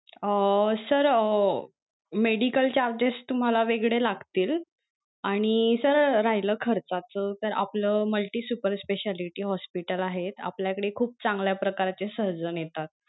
अं sir अं medical charges तुम्हाला वेगळे लागतील आणि sir राहील खर्चाच तर आपलं multi supar speciality hospital आहे आपल्या कडे खूप चांगल्या प्रकारचे surgeon येतात.